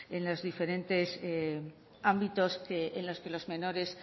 en los diferentes ámbitos en los que los menores